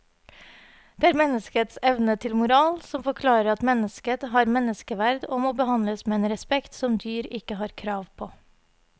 Det er menneskets evne til moral som forklarer at mennesket har menneskeverd og må behandles med en respekt som dyr ikke har krav på.